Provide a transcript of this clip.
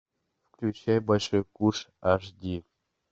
включай большой куш аш ди